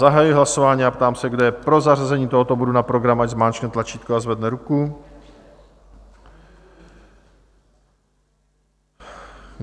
Zahajuji hlasování a ptám se, kdo je pro zařazení tohoto bodu na program, ať zmáčkne tlačítko a zvedne ruku.